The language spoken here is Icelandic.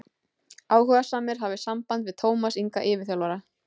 Áhugasamir hafi samband við Tómas Inga yfirþjálfara.